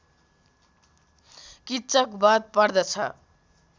किच्चक बध पर्दछ